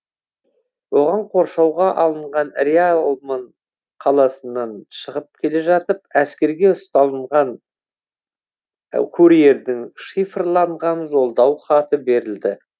оған қоршауға алынған реалмон қаласынан шығып келе жатып әскерге ұсталынған курьердің шифрланған жолдау хаты берілді